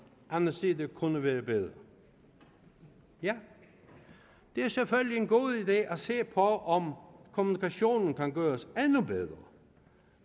anden side kunne være bedre ja det er selvfølgelig en god idé at se på om kommunikationen kan gøres endnu bedre